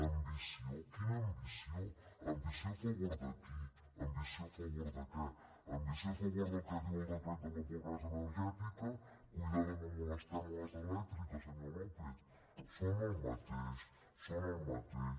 ambició quina ambició ambició a favor de qui ambició a favor de què ambició a favor del que diu el decret de la pobresa energètica compte no molestem les elèctriques senyor lópez són el mateix són el mateix